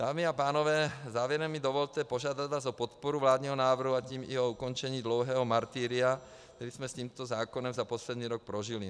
Dámy a pánové, závěrem mi dovolte požádat vás o podporu vládního návrhu, a tím i o ukončení dlouhého martyria, které jsme s tímto zákonem za poslední rok prožili.